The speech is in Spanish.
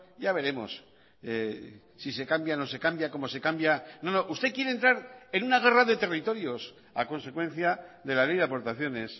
ya veremos si se cambia no se cambia cómo se cambia no usted quiere entrar en una guerra de territorios a consecuencia de la ley de aportaciones